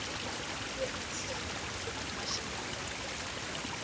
ooreenstemming met nasionale